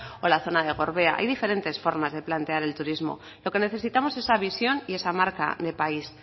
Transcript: o la zona de gorbea hay diferentes formas de plantear el turismo lo que necesitamos es esa visión y esa marca de país